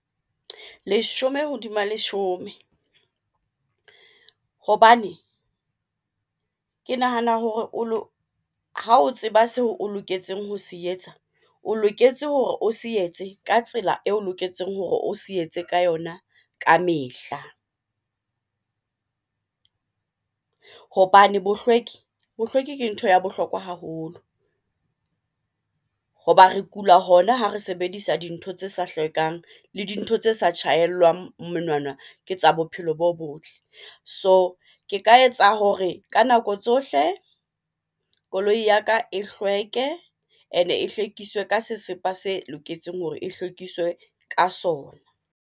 Leshome hodima leshome, hobane ke nahana hore ha o tseba seo o loketseng ho se etsa, o loketse hore o se etse ka tsela eo loketseng hore o se etse ka yona kamehla, hobane bohlweki, bohlweki ke ntho ya bohlokwa haholo. Hoba re kula, hona ha re sebedisa dintho tse sa hlwekang le dintho tse sa tjhahellwang monwana, ke tsa bophelo bo botle. So ke ka etsa hore ka nako tsohle koloi ya ka e hlweke ene e hlwekiswa ka sesepa se loketseng hore e hlwekise ka sona.